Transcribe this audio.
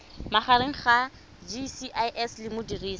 magareng ga gcis le modirisi